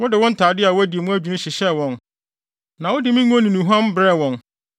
Wode wo ntade a wɔadi mu adwinni hyehyɛɛ wɔn na wode me ngo ne nnuhuam brɛɛ wɔn.